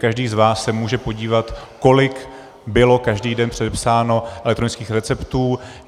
Každý z vás se může podívat, kolik bylo každý den předepsáno elektronických receptů.